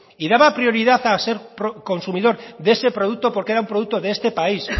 y daba prioridad a ser consumidor de ese producto porque era un producto de este país